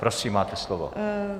Prosím, máte slovo.